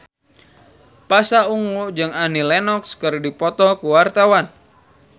Pasha Ungu jeung Annie Lenox keur dipoto ku wartawan